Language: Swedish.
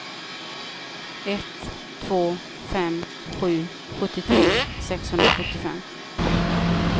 ett två fem sju sjuttiotre sexhundrasjuttiofem